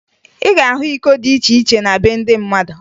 Ị ga-ahụ iko dị iche iche na be ndị mmadụ